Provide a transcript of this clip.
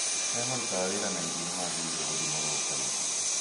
Arĩa marutaga wĩra na irio nĩ magĩrĩirũo gũthimagwo kaingĩ